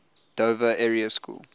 dover area school